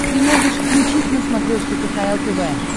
ты можешь включить на смотрешке кхл тв